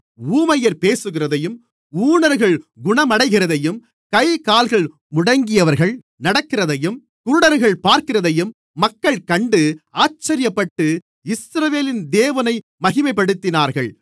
ஊமையர் பேசுகிறதையும் ஊனர்கள் குணமடைகிறதையும் கைகால்கள் முடங்கியவர்கள் நடக்கிறதையும் குருடர்கள் பார்க்கிறதையும் மக்கள் கண்டு ஆச்சரியப்பட்டு இஸ்ரவேலின் தேவனை மகிமைப்படுத்தினார்கள்